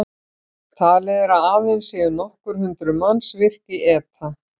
Talið er að aðeins séu nokkur hundruð manns virk í ETA.